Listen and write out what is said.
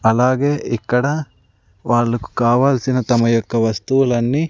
అలాగే ఇక్కడ వాళ్లకు కావాల్సిన తమయొక్క వస్తువులన్నీ--